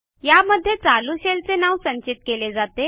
या मध्ये चालू शेल चे नाव संचित केले जाते